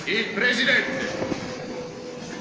Chers collègues, Mesdames et Messieurs,